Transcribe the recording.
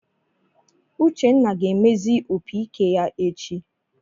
Uchenna ga-emezi opiike ya echi.